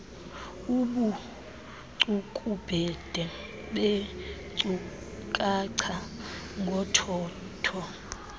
ubucukubhede beenkcukacha ngothotho